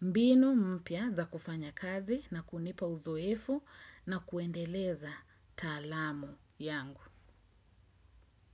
mbinu mpia za kufanya kazi na kunipa uzoefu na kuendeleza talamu yangu.